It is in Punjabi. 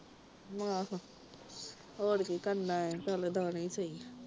ਹਾਹੋ ਹੋਰ ਕੀ ਕਰਨਾ ਚਲ ਦਾਣੇ ਹੀ ਸਹੀ